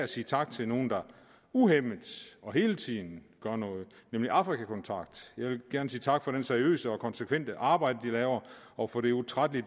sige tak til nogle der uhæmmet og hele tiden gør noget nemlig afrika kontakt jeg vil gerne sige tak for det seriøse og konsekvente arbejde de laver og for den utrættelige